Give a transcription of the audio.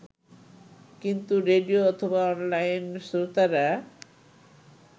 কিন্তু রেডিও অথবা অনলাইন শ্রোতারা